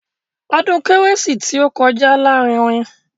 Ọdún kérésìmesì tí ó kọjá lárinrin.